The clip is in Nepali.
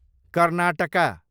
कर्नाटका